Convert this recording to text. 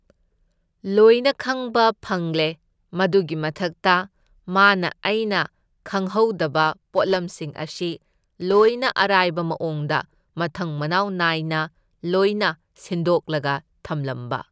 ꯂꯣꯏꯅ ꯈꯪꯕ ꯐꯪꯂꯦ ꯃꯗꯨꯒꯤ ꯃꯊꯛꯇ ꯃꯥꯅ ꯑꯩꯅ ꯈꯪꯍꯧꯗꯕ ꯄꯣꯠꯂꯝꯁꯤꯡ ꯑꯁꯤ ꯂꯣꯏꯅ ꯑꯔꯥꯏꯕ ꯃꯑꯣꯡꯗ ꯃꯊꯪ ꯃꯅꯥꯎ ꯅꯥꯏꯅ ꯂꯣꯏꯅ ꯁꯤꯟꯗꯣꯛꯂꯒ ꯊꯝꯂꯝꯕ꯫